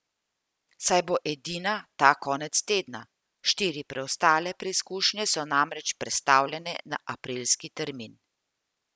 Saj bo edina ta konec tedna, štiri preostale preizkušnje so namreč prestavljene na aprilski termin.